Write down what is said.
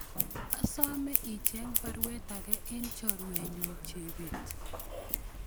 Asome icheng baruet age en chorwenyun Chebet